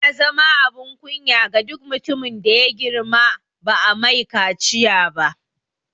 Yana zama abin kunya ga duk mutumin da ya girma ba'a mai kaciya ba